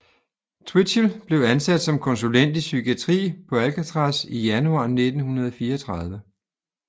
Twitchell blev ansat som konsulent i psykiatri på Alcatraz i januar 1934